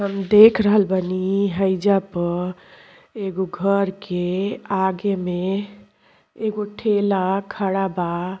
हम देख रहल बानी हइजा प एगो घर के आगे में एगो ठेला खड़ा बा।